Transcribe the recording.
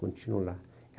Continua lá.